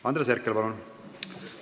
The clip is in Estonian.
Andres Herkel, palun!